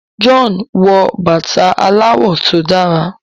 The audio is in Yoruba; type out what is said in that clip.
John wò bàtá aláwò tó dára.